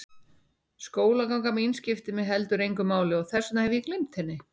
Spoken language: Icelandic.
Skólaganga mín skiptir mig heldur engu máli og þess vegna hef ég gleymt henni.